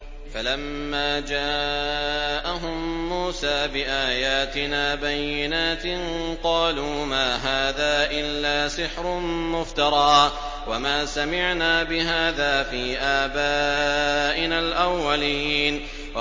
فَلَمَّا جَاءَهُم مُّوسَىٰ بِآيَاتِنَا بَيِّنَاتٍ قَالُوا مَا هَٰذَا إِلَّا سِحْرٌ مُّفْتَرًى وَمَا سَمِعْنَا بِهَٰذَا فِي آبَائِنَا الْأَوَّلِينَ